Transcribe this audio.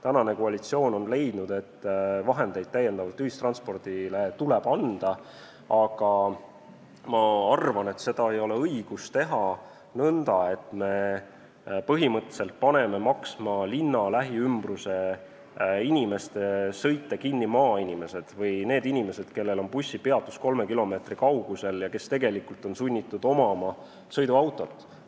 Praegune koalitsioon on leidnud, et ühistranspordile tuleb raha juurde anda, aga ma arvan, et seda ei ole õige teha nõnda, et me paneme linna lähiümbruse inimeste sõite kinni maksma maainimesed või need, kellel on bussipeatus kolme kilomeetri kaugusel ja kes tegelikult on sunnitud omama sõiduautot.